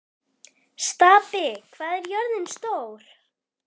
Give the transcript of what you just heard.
Stapi, hvað er jörðin stór?